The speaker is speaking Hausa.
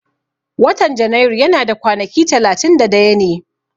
Watan Janairu yana da kwanaki talatin da daya ne